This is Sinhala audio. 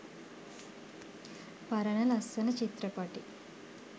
පරණ ලස්සන චිත්‍රපටි